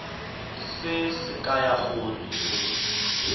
se se kaya gore o